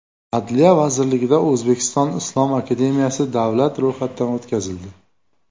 Adliya vazirligida O‘zbekiston islom akademiyasi davlat ro‘yxatidan o‘tkazildi.